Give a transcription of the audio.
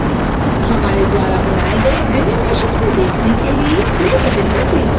हमारे द्वारा बनाए गए animation को देखने के लिए play बटन पर क्लिक करें